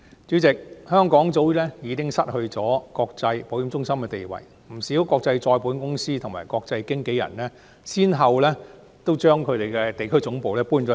主席，香港早已失去國際保險中心的地位，不少國際再保險公司及國際經紀人公司均先後將其地區總部遷往新加坡。